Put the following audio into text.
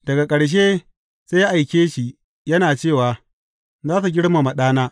Daga ƙarshe sai ya aike shi, yana cewa, Za su girmama ɗana.’